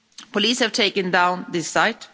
Police have taken down this site.